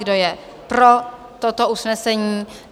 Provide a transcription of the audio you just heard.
Kdo je pro toto usnesení?